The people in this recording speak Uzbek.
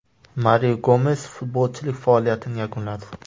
Mario Gomes futbolchilik faoliyatini yakunladi.